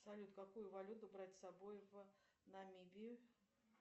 салют какую валюту брать с собой в намибию